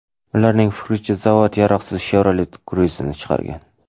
Ularning fikricha, zavod yaroqsiz Chevrolet Cruze’ni chiqargan.